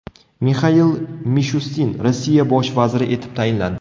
Mixail Mishustin Rossiya bosh vaziri etib tayinlandi.